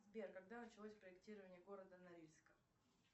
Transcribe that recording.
сбер когда началось проектирование города норильска